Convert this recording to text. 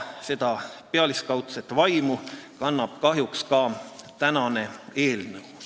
Seda pealiskaudset vaimu kannab kahjuks ka tänane eelnõu.